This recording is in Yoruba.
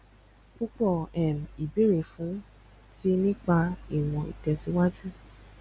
púpọ um ìbéèrè fún ti nípa ìwọn itẹsiwaju